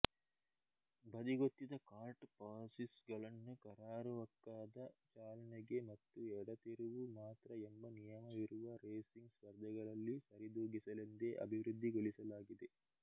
ಬದಿಗೊತ್ತಿದ kart chassis ಗಳನ್ನು ಕರಾರುವಾಕ್ಕಾದ ಚಾಲನೆಗೆ ಮತ್ತು ಎಡತಿರುವು ಮಾತ್ರ ಎಂಬ ನಿಯಮವಿರುವ ರೇಸಿಂಗ್ ಸ್ಪರ್ಧೆಗಳಲ್ಲಿ ಸರಿದೂಗಿಸಲೆಂದೇ ಅಭಿವೃದ್ಧಿಗೊಳಿಸಲಾಗಿದೆ